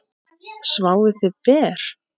Sváfuð þið ber?